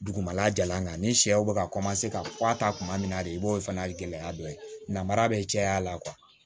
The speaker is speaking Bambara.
Dugumala jalan kan ni sɛw bɛ ka ka kɔwa ta kuma min na de i b'o fana gɛlɛya dɔ ye namara bɛ caya la